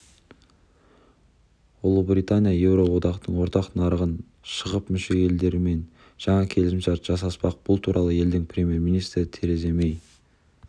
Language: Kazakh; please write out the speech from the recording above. ұлыбритания еуроодақтың ортақ нарығынан шығып мүше елдермен жаңа келісімшарт жасаспақ бұл туралы елдің премьер-министрі тереза мэй